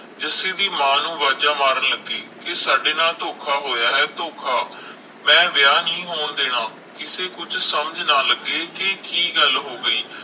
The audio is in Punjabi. ਜੱਸੀ ਵੀ ਮਾਂ ਨੂੰ ਵਾਜਾਂ ਮਾਰਨ ਲਗੀ ਕਿ ਸਾਡੇ ਨਾਲ ਧੋਖਾ ਹੋਇਆ ਹੈ ਧੋਖਾ ਮੈ ਵਿਆਹ ਨਹੀਂ ਹੋਣ ਦੇਣਾ ਕਿਸੇ ਕੁਛ ਸਮਝ ਨਾ ਲਗੇ ਕੇ ਕਿ ਗੱਲ ਹੋ ਗਈ